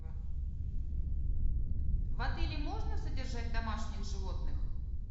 в отеле можно содержать домашних животных